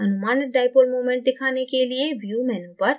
अनुमानित dipole moment दिखाने के लिए view menu पर जाएँ